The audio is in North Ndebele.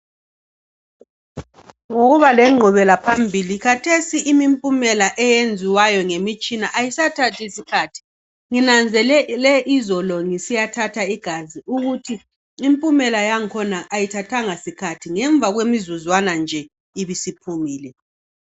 Ngokuba lenqubelaphambili khathesi imimpumela eyenziwayo ngemitshina ayisathathi isikhathi. Nginanzelele izolo ngisiyathatha igazi ukuthi impumela yangikhona ayithathanga sikhathi, ngemva kwemizuzwana nje ibisiphumile.